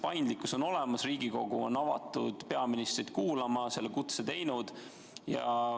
Paindlikkus on olemas, Riigikogu on avatud peaministrit kuulama, on selle kutse esitanud.